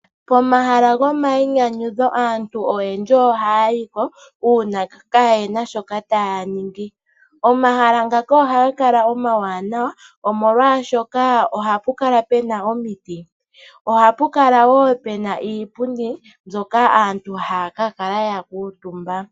Pomahala gomayinyanyudho aantu oyendji ohay yiko, uuna kayena shoka taya ningi. Omahala ngaka ohaga kala omawanawa omolwashoka ohapu kala pena omiti, ohapu kala wo pena iipundi mbyoka aantu haya ka kala ya kuutumba.